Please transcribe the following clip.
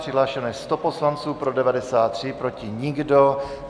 Přihlášeno je 100 poslanců, pro 93, proti nikdo.